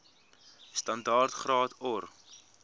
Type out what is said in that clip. standaard graad or